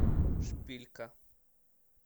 шпилька